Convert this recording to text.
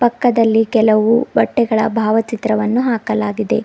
ಪಕ್ಕದಲ್ಲಿ ಕೆಲವು ಬಟ್ಟೆಗಳ ಭಾವಚಿತ್ರವನ್ನು ಹಾಕಲಾಗಿದೆ.